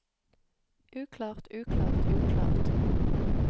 uklart uklart uklart